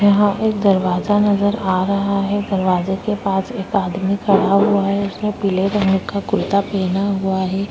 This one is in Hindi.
यहाँ पर दरवाजा नजर आ रहा है। दरवाजे के पास एक आदमी खड़ा हुआ है। उसने पीले रंग का कुर्ता पेना हुआ है।